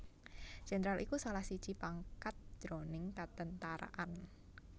Jéndral iku salah siji pangkat jroning katentaraan